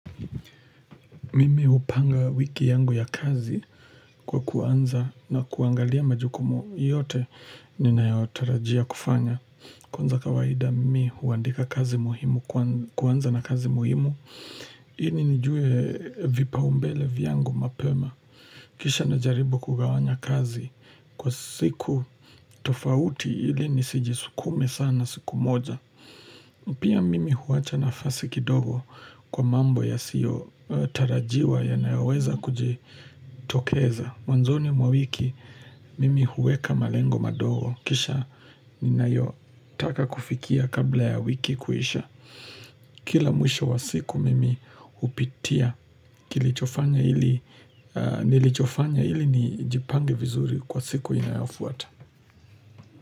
Mimi upanga wiki yangu ya kazi kwa kuanza na kuangalia majukumu yote ninayo tarajia kufanya. Kwanza kawaida mimi huandika kazi muhimu, kuanza na kazi muhimu. Ii nijue vipaumbele vyangu mapema. Kisha na jaribu kugawanya kazi kwa siku tofauti ili nisijisukume sana siku moja. Pia mimi huwacha nafasi kidogo kwa mambo yasiyo tarajiwa ya nayoweza kuji tokeza mwanzoni mwa mwiki mimi huweka malengo madogo kisha ninayo taka kufikia kabla ya wiki kuisha Kila mwisho wa siku mimi upitia nilichofanya ili nilichofanya ili nijipange vizuri kwa siku inayofuata.